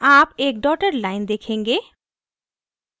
आप एक dotted line देखेंगे